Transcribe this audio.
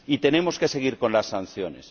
Y tenemos que seguir con las sanciones.